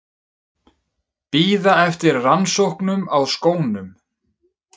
Bíða eftir rannsóknum á skónum